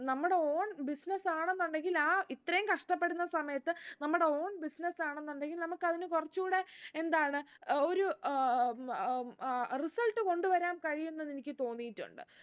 നമ്മുടെ own business ആണെന്നുണ്ടെങ്കിൽ ആ ഇത്രയും കഷ്ട്ടപ്പെടുന്ന സമയത്ത് നമ്മുടെ own business ആണെന്നുണ്ടെങ്കിൽ നമുക്ക് അതിന് കുറച്ചു കൂടെ എന്താണ് ഒരു ഏർ ഏർ അഹ് result കൊണ്ട് വരാൻ കഴിയും എന്നെനിക്ക് തോന്നീട്ടുണ്ട്